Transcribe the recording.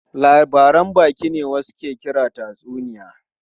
Labaran baki ne wasu ke kira tatsuniya.